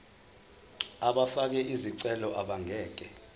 abafake izicelo abangeke